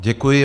Děkuji.